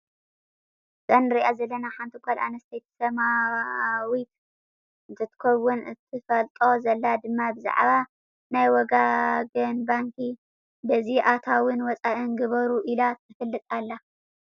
እዛ እንሪኣ ዘለና ሓንቲ ጓል ኣንስተይቲ ሰማዊት እንትትከውን እተፋልጦ ዘላ ድማ ብዛዕባ ናይ ወጋገን ባንኪ በዚ ኣታዊን ወፃኢን ግበሩ ኢላ ተፋልጥ ኣላ።